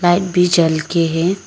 Light भी जल के है।